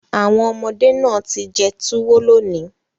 Awon omode naa ti jẹ tuwo loni